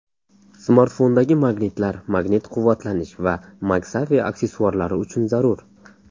Smartfondagi magnitlar magnit quvvatlanish va MagSafe aksessuarlari uchun zarur.